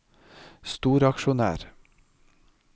storaksjonær